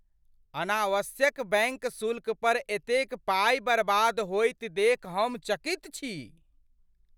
अनावश्यक बैंक शुल्क पर एतेक पाइ बर्बाद होइत देखि हम चकित छी ।